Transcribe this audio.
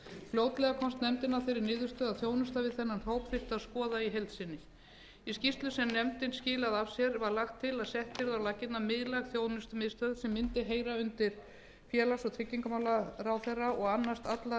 fljótlega komst nefndin að þeirri niðurstöðu að þjónustu við þennan hóp þyrfti að skoða í heild sinni í skýrslu sem nefndin skilaði af sér var lagt til að sett yrði á laggirnar miðlæg þjónustumiðstöð sem mundi heyra undir félags og tryggingamálaráðherra og annast alla